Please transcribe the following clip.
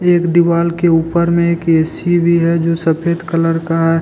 एक दिवाल के ऊपर में एक ए_सी भी है जो सफेद कलर का है।